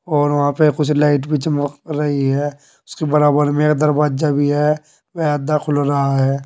और वहां पे कुछ लाइट भी चमक रही है उसके बराबर में एक दरवाजा भी है वे आधा खुल रहा है।